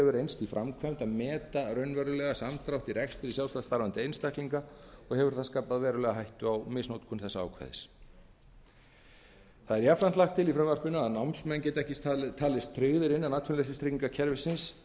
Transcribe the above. í framkvæmd að meta samdrátt í rekstri sjálfstætt starfandi einstaklinga og hefur það skapað verulega hættu á misnotkun þessa ákvæðis námsmenn lagt er til að námsmenn geti ekki talist tryggðir innan atvinnuleysistryggingakerfisins